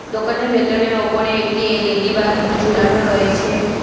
দোকানের ভেতরে ওপরে একটি এল_ই_ডি বাল্ব ঝুলানো রয়েছে।